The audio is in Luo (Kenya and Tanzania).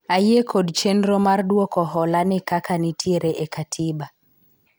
ayie kod chenro mar dwoko hola ni kaka nitiere e katiba